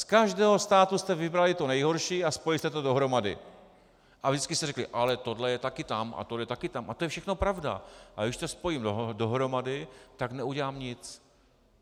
Z každého státu jste vybrali to nejhorší a spojili jste to dohromady a vždycky jste řekli: ale tohle je taky tam a tohle je taky tam - a to je všechno pravda, ale když to spojím dohromady, tak neudělám nic.